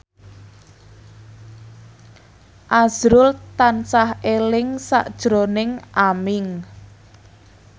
azrul tansah eling sakjroning Aming